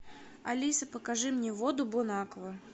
алиса покажи мне воду бонаква